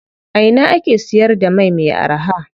A ina ake siyar da mai me araha?